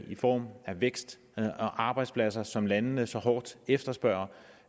i form af vækst og arbejdspladser som landene så hårdt efterspørger